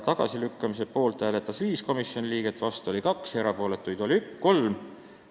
Tagasilükkamise poolt hääletas 5 komisjoni liiget, vastu oli 2, erapooletuid 3.